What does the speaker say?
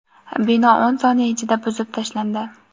Bino o‘n soniya ichida buzib tashlandi.